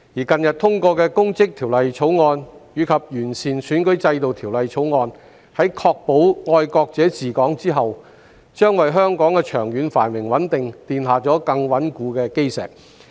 近日通過的《2021年公職條例草案》及《2021年完善選舉制度條例草案》，在確保"愛國者治港"後，將為香港的長遠繁榮穩定奠下更穩固的基石。